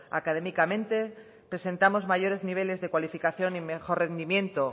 académicamente presentamos mayores niveles de cualificación y mejor rendimiento